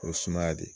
O ye sumaya de